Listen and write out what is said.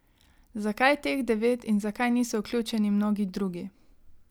Zakaj teh devet in zakaj niso vključeni mnogi drugi?